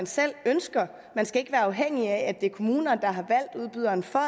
selv ønsker man skal ikke være afhængig af at det er kommunen der har valgt udbyderen for